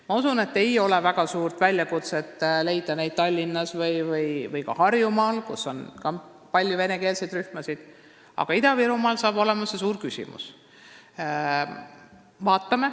Ma usun, et ei ole väga suur väljakutse leida neid õpetajaid Tallinnasse või Harjumaale, kus on ka palju venekeelseid rühmasid, aga Ida-Virumaa puhul saab sellest oluline küsimus.